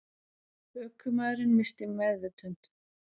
Ökumaðurinn missti meðvitund